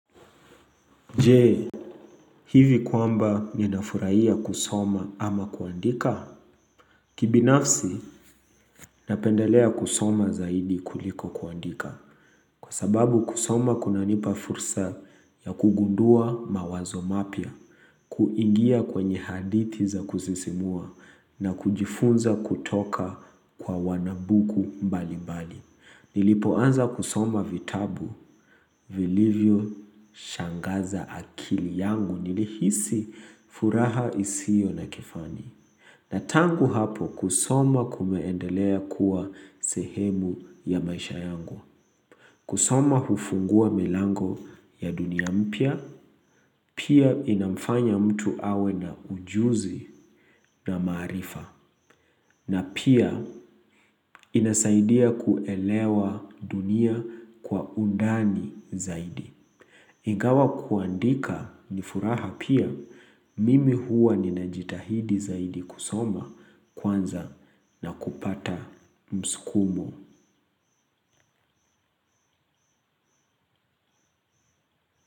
Je, hivi kwamba ninafurahia kusoma ama kuandika? Kibinafsi, napendelea kusoma zaidi kuliko kuandika. Kwa sababu kusoma kunanipa fursa ya kugundua mawazo mapya, kuingia kwenye hadithi za kusisimua na kujifunza kutoka kwa wanabuku mbali-mbali. Nilipoanza kusoma vitabu. Vilivyoshangaza akili yangu nilihisi furaha isiyo na kifani. Na tangu hapo kusoma kumeendelea kuwa sehemu ya maisha yangu. Kusoma hufungua milango ya dunia mpya. Pia inamfanya mtu awe na ujuzi na maarifa. Na pia inasaidia kuelewa dunia kwa undani zaidi. Ingawa kuandika ni furaha pia mimi huwa ninajitahidi zaidi kusoma kwanza na kupata msukumo.